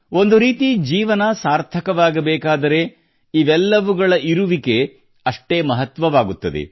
ಒಂದು ರೀತಿ ಜೀವನ ಸಾರ್ಥಕವಾಗಬೇಕಾದರೆ ಇವೆಲ್ಲವುಗಳ ಇರುವಿಕೆ ಅಷ್ಟೇ ಮಹತ್ವವಾಗುತ್ತದೆ